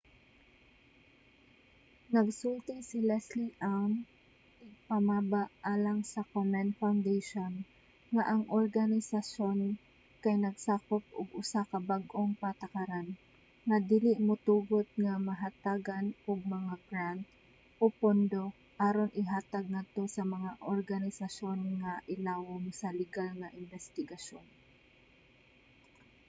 nagsulti si leslie aun tigpamaba alang sa komen foundation nga ang organisayon kay nagsagop og usa ka bag-ong patakaran nga dili motugot nga mahatagan og mga grant o pondo aron ihatag ngadto sa mga organisasyon nga ilawom sa ligal nga imbestigasyon